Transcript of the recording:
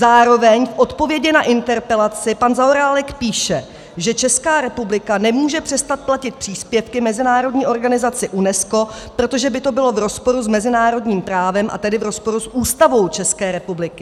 Zároveň v odpovědi na interpelaci pan Zaorálek píše, že Česká republika nemůže přestat platit příspěvky mezinárodní organizaci UNESCO, protože by to bylo v rozporu s mezinárodním právem, a tedy v rozporu s Ústavou České republiky.